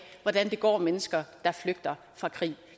hvordan det går mennesker der flygter fra krig